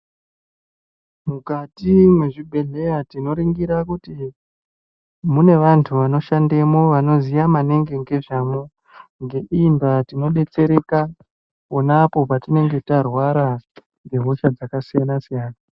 Mukati mwezvibhedhleya tinoringira kuti mune vanthu vanoshandemwo vanoziya maningi ngezvamwo, ngeiyi ndaa tinodetsereka ponapo patinenge tarwara nehosha dzakasiyana siyana.